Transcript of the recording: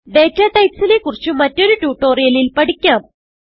data types നെ കുറിച്ച് മറ്റൊരു ട്യൂട്ടോറിയലിൽ പഠിക്കാം